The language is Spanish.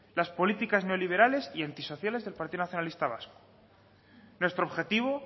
las políticas neoliberales y antisociales del partido nacionalista vasco nuestro objetivo